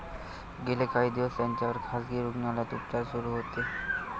गेले काही दिवस त्यांच्यावर खासगी रुग्णालयात उपचार सुरू होते.